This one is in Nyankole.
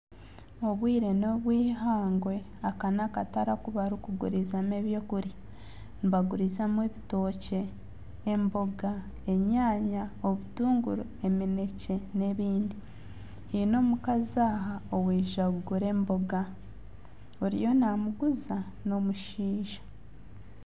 Obwire nobw'eihangwe aka n'akatare oku barikugurizamu eby'okurya, nibagurizamu ebitookye, emboga, enyaanya, obutuunguru, eminekye n'ebindi haine omukazi aha owaija kugura emboga oriyo namuguuza n'omushaija.